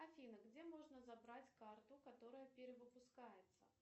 афина где можно забрать карту которая перевыпускается